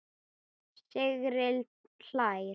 Sigrid hlær.